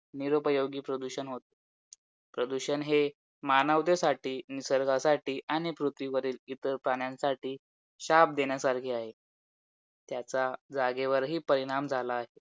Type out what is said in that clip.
आणि या वेळेस तर group B आणि group C एकत्र आहे घेतले आहे म्हणजे दोनी परीक्षा दोन्ही परीक्षेची pre एकच आहेत फक्त mains वेगळ्या आहेत